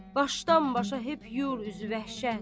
Başdan-başa hep yer üzü vəhşət.